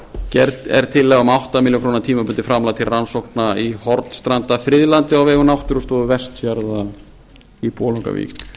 gerð er tillaga um átta milljónir króna tímabundið framlag til rannsókna í hornstrandafriðlandi á vegum náttúrustofu vestfjarða í bolungarvík